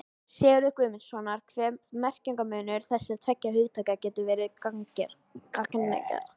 Sigurðar Guðmundssonar hve merkingarmunur þessara tveggja hugtaka getur verið gagnger.